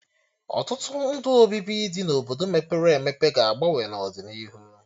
Ọtụtụ ndụ obibi dị na Obodo mepere emepe ga-agbanwe n'ọdịnihu